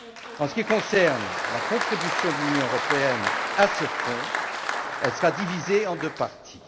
En ce qui concerne la contribution de l'Union européenne à ce fonds, elle sera divisée en deux parties.